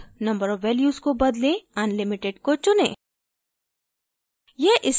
allowed number of values को बदलें unlimited को चुनें